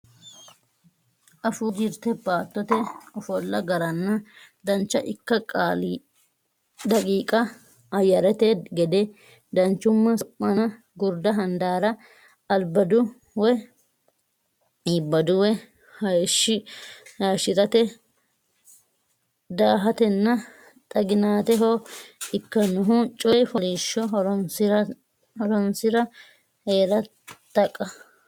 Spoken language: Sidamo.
Afuu Jirte Baattote ofolla garanna dancha ikka daqiiqa Ayyarete gade danchumma Su manna Gurdu Handaara Ibbadu way hayishshi rate daahatenna xaginaateho ikkannohu Coy fooliishsho Horonsi ra hee ra Taqa.